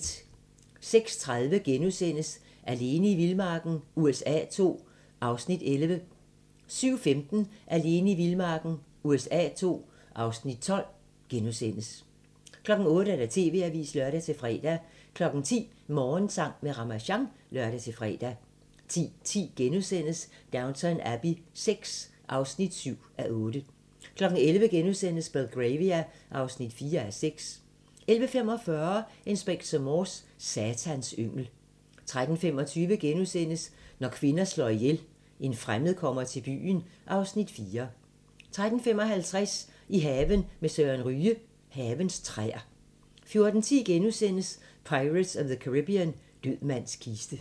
06:30: Alene i vildmarken USA II (Afs. 11)* 07:15: Alene i vildmarken USA II (Afs. 12)* 08:00: TV-avisen (lør-fre) 10:00: Morgensang med Ramasjang (lør-fre) 10:10: Downton Abbey VI (7:8)* 11:00: Belgravia (4:6)* 11:45: Inspector Morse: Satans yngel 13:25: Når kvinder slår ihjel - En fremmed kommer til byen (Afs. 4)* 13:55: I haven med Søren Ryge: Havens træer 14:10: Pirates of the Caribbean – Død mands kiste *